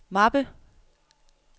mappe